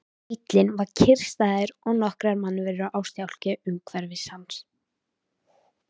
Bíllinn var kyrrstæður og nokkrar mannverur á stjákli umhverfis hann.